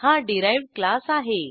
हा derived class आहे